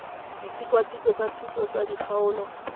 ditikwatikwe tsa thuso tsa dikgaolo